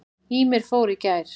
Ýmir fór í gær.